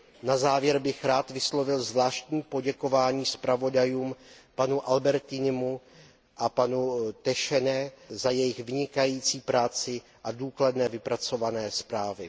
Na závěr bych rád vyslovil zvláštní poděkování zpravodajům, panu Albertinimu a panu Teychenné za jejich vynikající práci a důkladně vypracované zprávy.